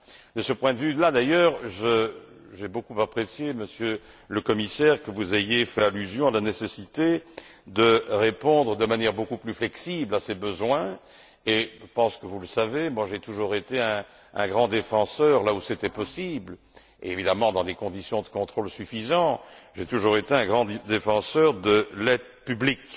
De ce point de vue là d'ailleurs, j'ai beaucoup apprécié, Monsieur le Commissaire, que vous ayez fait allusion à la nécessité de répondre de manière beaucoup plus flexible à ces besoins et, je pense que vous le savez, j'ai toujours été un grand défenseur, là où c'était possible évidemment dans des conditions de contrôle suffisantes j'ai toujours été un grand défenseur de l'aide publique